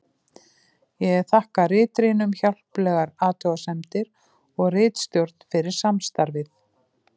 Ég þakka ritrýnum hjálplegar athugasemdir og ritstjórn fyrir samstarfið.